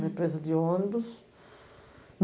Na empresa de ônibus.